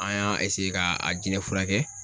An y'a ka a jinɛ furakɛ